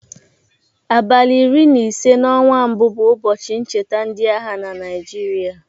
Abalị iri na ise n'ọnwa mbụ bụ ụbọchị ncheta ndịagha na Naijịrịa.